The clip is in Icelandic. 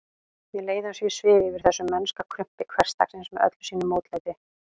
Mér leið eins og ég svifi yfir þessu mennska krumpi hversdagsins með öllu sínu mótlæti.